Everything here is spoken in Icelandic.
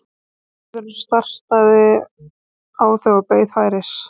Sundlaugarvörðurinn starði á þau og beið færis.